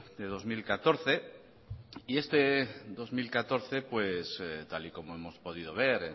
de dos mil catorce y este dos mil catorce tal y como hemos podido ver